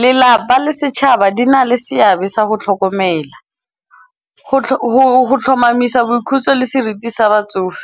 Lelapa le setšhaba di na le seabe sa go tlhokomela, go tlhomamisa boikhutso le seriti sa batsofe.